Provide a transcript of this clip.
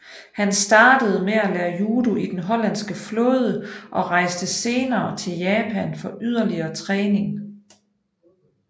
Han startede med at lære judo i den hollandske flåde og rejste senere til Japan for yderligere træning